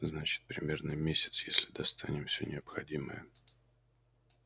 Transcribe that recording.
значит примерно месяц если достанем все необходимое